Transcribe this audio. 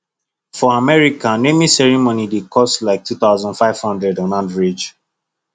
for america naming ceremony dey cost dey cost like two thousand five hundred on average